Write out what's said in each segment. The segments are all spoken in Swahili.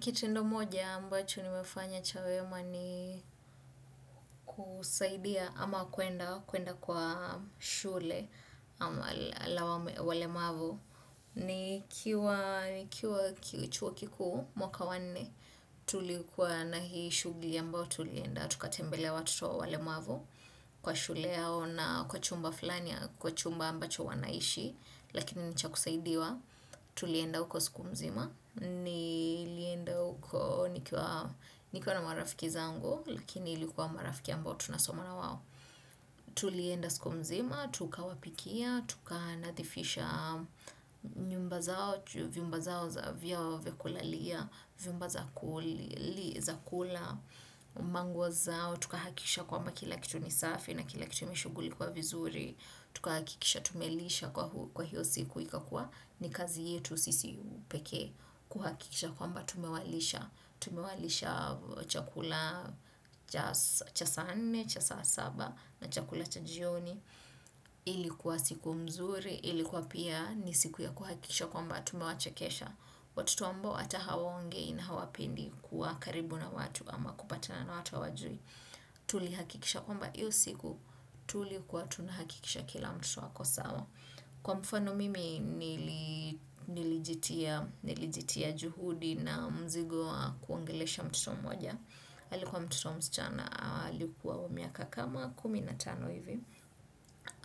Kitendo moja ambacho nimefanya cha wema ni kusaidia ama kuenda kwa shule ama walemavu. Ni kiwa ki chuo kikuu mwaka wanne, tulikuwa na hii shugli ambao tulienda. Tukatembelea watoto wawalemavu kwa shule yao na kwa chumba flani ya, kwa chumba ambacho wanaishi. Lakini ni cha kusaidiwa tulienda huko siku mzima ni lienda uko nikiwa na marafiki zangu lakini ilikuwa marafiki ambao tunasoma na wao tulienda siku mzima, tuka wapikia, tuka nathifisha nyumba zao, viumba zao za vyao vya kulalia viumba za kula, manguo zao tukahakisha kwamba kila kitu nisafi na kila kitu imeshugulikiwa vizuri tuka hakisha tumelisha kwa hiyo siku ikakua ni kazi yetu sisi pekee kuhakikisha kwamba tumewalisha. Tumewalisha chakula cha saa nne, cha saa saba na chakula cha jioni. Ilikuwa siku mzuri. Ilikuwa pia ni siku ya kuhakikisha kwamba tume wachekesha. Watotouambo ata hawongei na hawapendi kuwa karibu na watu ama kupatana na watu hawajui. Tuli hakikisha kwamba iyo siku. Tuli kuwa tunahakikisha kila mtoto ako sawa kwa mfano mimi nilijitia juhudi na mzigo kuongelesha mtoto mmoja alikuwa mtoto msichana, halikuwa umiaka kama kumi na tano hivi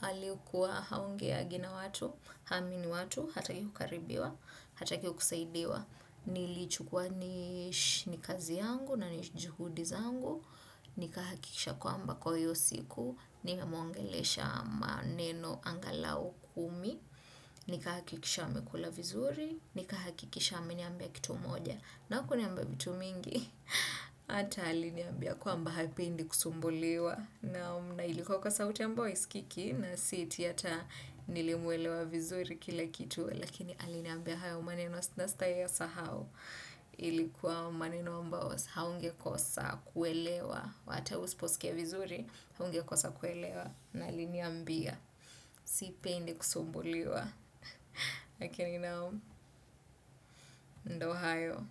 alikuwa haongeagi na watu, hamini watu, hataki kukaribiwa, hataki kusaidiwa. Nilichukwa ni kazi yangu na juhudi zangu. Nikaha kikisha kwamba kwa hiyo siku nimemuongelesha maneno angalau kumi. Nikahakikisha amekula vizuri. Nikahakikisha ameniambia kitu moja na kuniamba vitu mingi. Ata aliniambia kwamba hapendi kusumbuliwa na ilikuwa kwa sauti ambao iskiki na siti yata nilimwelewa vizuri kila kitu. Lakini aliniambia haya umaneno asnasta ya sahau ilikuwa maninomba haungekosa kuelewa wata usposikia vizuri haungekosa kuelewa na linia mbia sipendi kusumbuliwa ndo hayo.